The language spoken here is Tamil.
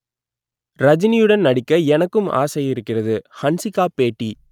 ரஜினியுடன் நடிக்க எனக்கும் ஆசை இருக்கிறது ஹன்சிகா பேட்டி